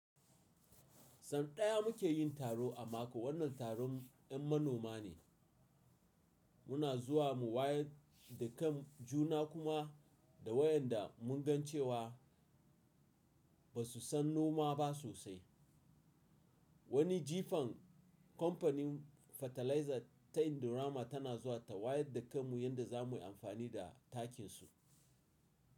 San ɗaya muke yin taro a mako. Wannan taron yan manoma ne. Muna zuwa mu wayar da kan juna kuma da waɗanda mun gan cewa ba su san noma ba sosai. Wani jifan kampanin fataliza ta Indorama tana zuwa ta wayar da kan mu yadda za mu yi amfani da takin su.